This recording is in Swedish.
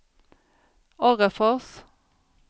Orrefors